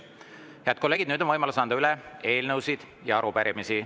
Head kolleegid, nüüd on võimalus anda üle eelnõusid ja arupärimisi.